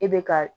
E bɛ ka